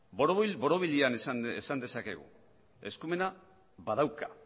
borobil borobilean esan dezakegu eskumena badauka